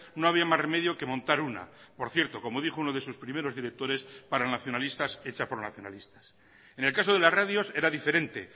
no había más remedio que montar una por cierto como dijo uno de sus primeros directores para nacionalistas hecha por nacionalistas en el caso de las radios era diferente